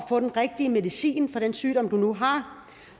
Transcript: få den rigtige medicin for den sygdom du nu har